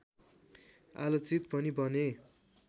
आलोचित पनि बने